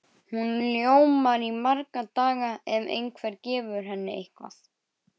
Hún ljómar í marga daga ef einhver gefur henni eitthvað.